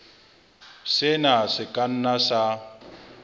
sena se ka nna sa